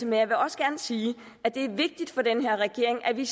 men jeg vil også gerne sige at det er vigtigt for den her regering at vi